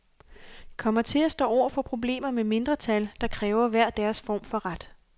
Kommer til at stå over for problemer med mindretal, der kræver hver deres form for ret.